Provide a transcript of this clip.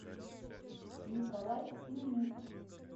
николай семенюк